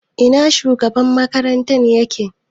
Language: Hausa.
Ina shugaban makaranta yake?